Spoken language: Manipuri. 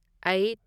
ꯑꯩꯠ